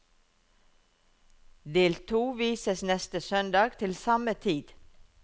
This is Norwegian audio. Del to vises neste søndag til samme tid.